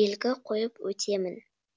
белгі қойып өтемін